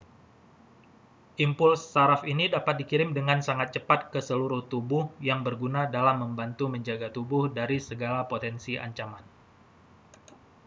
impuls saraf ini dapat dikirim dengan sangat cepat ke seluruh tubuh yang berguna dalam membantu menjaga tubuh dari segala potensi ancaman